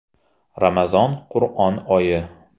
Ramazon– Qur’on oyi!